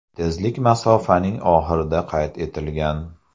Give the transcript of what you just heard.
Tezlik masofaning oxirida qayd etilgan.